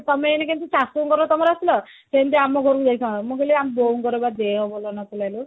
ତମେ ଏଇନା କେମତି ଶାଶୁଘର ତମର ଆସିଲ ସେମତି ଆମ ଘରକୁ ଯାଇଥାନ୍ତ ମୁଁ କହିଲି ଆମ ବୋଉ ଙ୍କର ବା ଦେହ ଭଲ ନଥିଲା ଲୋ